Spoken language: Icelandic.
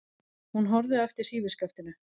Hún horfði á eftir hrífuskaftinu.